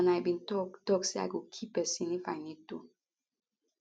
and i bin tok tok say i go kill pesin if i need to